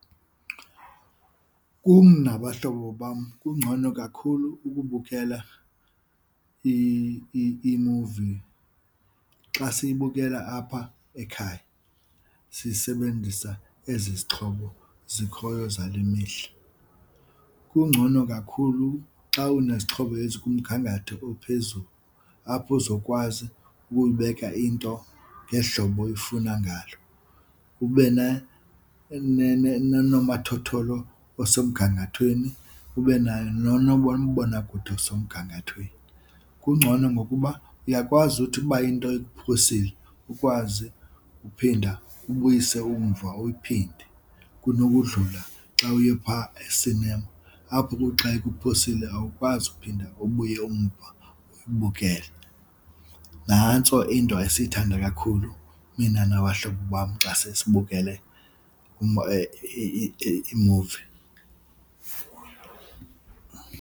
Kum nabahlobo bam kungcono kakhulu ukubukela iimuvi xa siyibukela apha ekhaya siyisebenzisa ezi zixhobo zikhoyo zale mihla. Kungcono kakhulu xa unezixhobo ezikumgangatho ophezulu apho uzokwazi ukuyibeka into ngeli hlobo uiifuna ngalo, ube noonomathotholo osemgangathweni, ube nayo bona kude osemgangathweni. Kungcono ngokuba uyakwazi uthi uba into ikuphosile ukwazi uphinda ubuyise umva uyiphinde kunokudlula xa uye phaa esinema apho kuthi xa ikuphosile awukwazi uphinda ubuye umva uyibukele. Nantso into esiyithanda kakhulu mina nabahlobo bam xa sesibukele iimuvi.